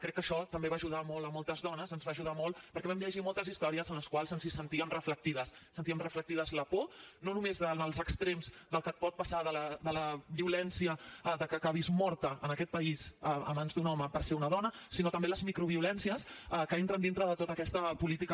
crec que això també va ajudar molt a moltes dones ens va ajudar molt perquè vam llegir moltes històries en les quals ens hi sentíem reflectides sentíem reflectides la por no només en els extrems del que et pot passar de la violència de que acabis morta en aquest país a mans d’un home per ser una dona sinó també les microviolències que entren dintre de tota aquesta política